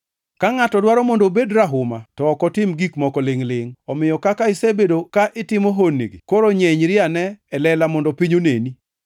Ka ngʼato dwaro mondo obed rahuma to ok otim gik moko lingʼ-lingʼ. Omiyo kaka isebedo ka itimo honnigi, koro nyenyri ane e lela mondo piny oneni.”